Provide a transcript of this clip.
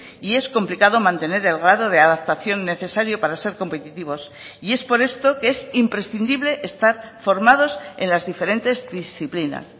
y es complicado mantener el grado de adaptación necesario para ser competitivos y es por esto que es imprescindible estar formados en las diferentes disciplinas